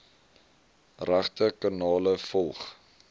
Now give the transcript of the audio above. regte kanale volg